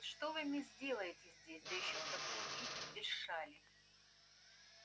а вот что вы мисс делаете здесь да ещё в таком виде без шали